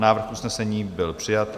Návrh usnesení byl přijat.